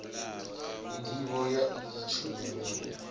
ndivho ya iyi tshumelo ndi